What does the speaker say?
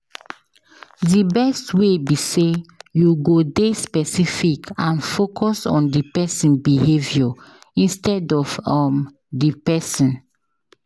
Di best way be say you go dey specific and focus on di behavior instead of um di pesin.